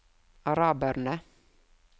araberne